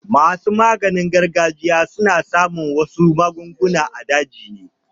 Masu maganin gargajiya suna samo wasu magunguna a daji.